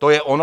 To je ono?